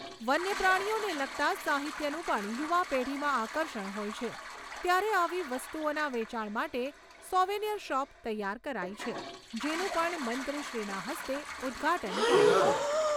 વન્યપ્રાણીઓને લગતા સાહિત્યનું પણ યુવા પેઢીમાં આકર્ષણ હોય છે ત્યારે આવી વસ્તુઓના વેચાણ માટે સોવેનિયર શોપ તૈયાર કરાઈ છે જેનું પણ મંત્રીશ્રીના હસ્તે ઉદ્ઘાટન કરાશે.